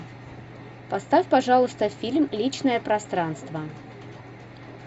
поставь пожалуйста фильм личное пространство